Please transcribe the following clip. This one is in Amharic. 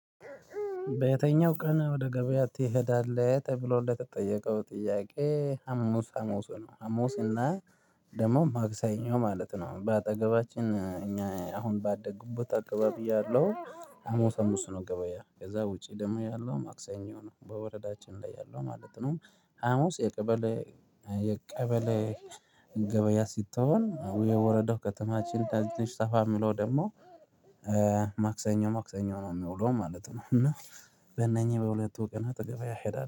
በየትኛው ቀን ወደ ገበያ ትሄዳለህ? ተብሎ ለተጠየቀው ጥያቄ ሀሙስ ሀሙስ ነው ሀሙስ እና ደግሞ ማክሰኞ ማለት ነው። በአጠገባችን እኛ አሁን ባደግኩበት አካባቢ በብያለሁ። ሀሙስ ነው ገበያ ከዛ ውጪ ደግሞ ያለው ማክሰኞ ነው በወረዳችን ላይ ያለው ማለት ነው። ሀሙስ የቀበሌ የቀበሌ ገበያ ስትሆን የወረዳው ከተማችን ደስ ተፋ የሚለው ደግሞ ማክሰኞ ማክሰኞ ነው የሚውለው ማለት ነው። እና በእነኚህ በሁለቱ ቀን ወደ ገበያ እሄዳል